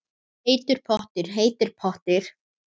Heitur pottur, heitur pottur